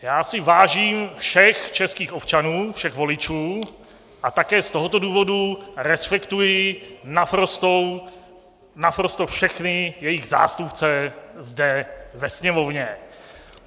Já si vážím všech českých občanů, všech voličů, a také z tohoto důvodu respektuji naprosto všechny jejich zástupce zde ve Sněmovně.